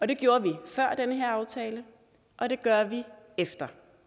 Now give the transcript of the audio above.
det gjorde vi før den her aftale og det gør vi efter